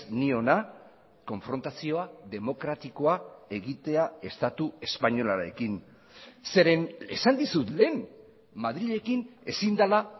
ni hona konfrontazioa demokratikoa egitea estatu espainolarekin zeren esan dizut lehen madrilekin ezin dela